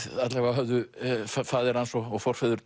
alla vega trúðu faðir hans og forfeður